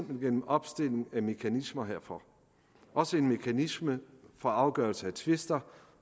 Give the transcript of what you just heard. gennem opstilling af mekanismer herfor også en mekanisme for afgørelse af tvister